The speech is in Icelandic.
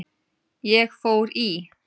Ég fór í